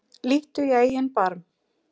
Líttu í eigin barm